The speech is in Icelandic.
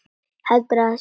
Heldur að sé rétt.